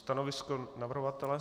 Stanovisko navrhovatele?